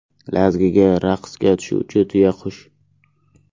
Lazgiga raqsga tushuvchi tuyaqush.